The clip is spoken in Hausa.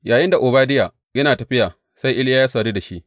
Yayinda Obadiya yana tafiya, sai Iliya ya sadu da shi.